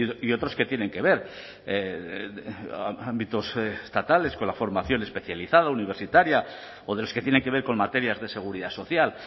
y otros que tienen que ver ámbitos estatales con la formación especializada universitaria o de los que tienen que ver con materias de seguridad social